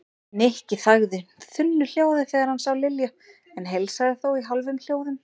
Nikki þagði þunnu hljóði þegar hann sá Lilju en heilsaði þó í hálfum hljóðum.